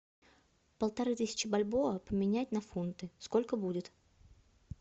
полторы тысячи бальбоа поменять на фунты сколько будет